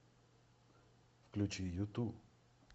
включи юту